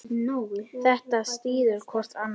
Þetta styður hvort annað.